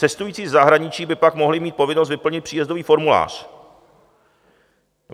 Cestující ze zahraničí by pak mohli mít povinnost vyplnit příjezdový formulář.